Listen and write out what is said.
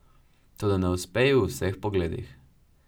Toda ne uspe ji v vseh pogledih.